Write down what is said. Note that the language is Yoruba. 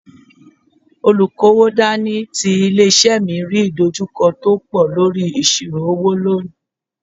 Olukowo dání ti ilé-isé mi rí ìdojúkọ tó pọ̀ lórí ìṣirò owó lónìí.